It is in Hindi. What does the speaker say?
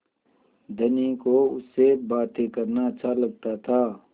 धनी को उससे बातें करना अच्छा लगता था